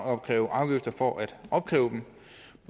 opkræve afgifter for at opkræve dem